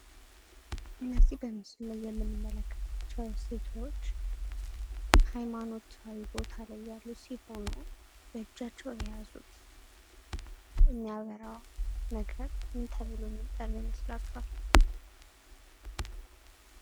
እነዚህ በምስሉ ላይ የምንመለከታቸው ሴቶች ሀይማኖታዊ ቦታ ላይ ያሉ ሲሆኑ በእጃቸው የያዙት የሚያበራ ነገር ምን ተብሎ የሚጠራ ይመስላችኋል?